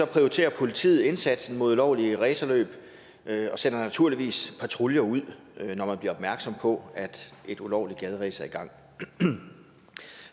prioriterer politiet indsatsen mod ulovlige racerløb og sender naturligvis patruljer ud når man bliver opmærksom på at et ulovligt gaderæs er i gang